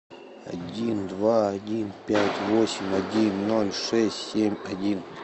один два один пять восемь один ноль шесть семь один